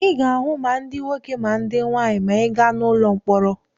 Ị ga-ahụ ma ndị nwoke ma ndị nwaanyị maa ị gaa n'ụlọ mkpọrọ.